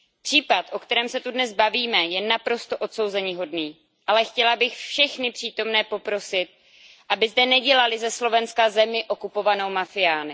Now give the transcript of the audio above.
Případ, o kterém se tu dnes bavíme, je naprosto odsouzeníhodný, ale chtěla bych všechny přítomné poprosit, aby zde nedělali ze Slovenska zemi okupovanou mafiány.